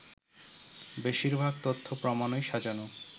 “বেশিরভাগ তথ্য-প্রমাণই সাজানো